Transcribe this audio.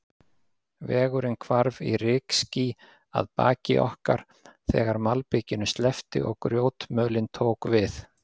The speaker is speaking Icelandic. Vegurinn hvarf í rykský að baki okkar, þegar malbikinu sleppti og grjótmölin tók við.